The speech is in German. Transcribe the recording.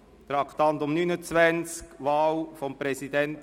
Traktandum 38: Wahl des Präsidenten